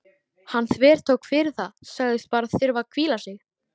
Hann þvertók fyrir það, sagðist bara þurfa að hvíla sig.